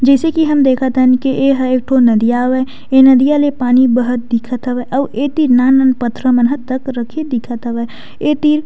जइसे की हम देखत हन एहा एक ठो नदिया हवय ए नदिया ल पानी बहत दिखत हवय अऊ एतीर नान-नान पथरा मन तक रखे दिखत हवय एतिर--